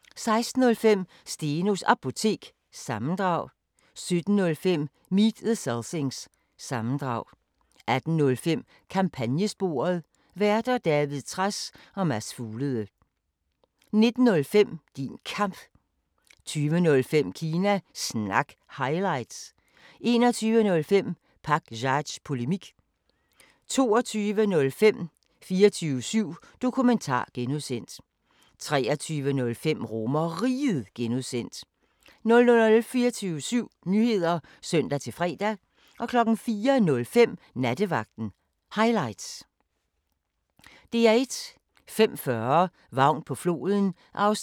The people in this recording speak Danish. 05:40: Vagn på floden (2:11) 06:20: SpareXperimentet (2:6) 07:05: På Landevejen (3:6)* 07:35: Pop up – Spis Ærø (1:3) 08:25: Frømandskorpset (2:5) 09:10: Vild med dyr (12:12) 09:55: Made in Denmark II (5:8) 10:40: Antikviteter – fra yt til nyt (20:20) 11:10: Lewis: Mørket falder på (Afs. 16)* 12:40: Vores ukendte Danmark (Afs. 5)*